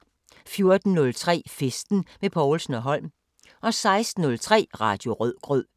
14:03: Festen med Povlsen & Holm 16:03: Radio Rødgrød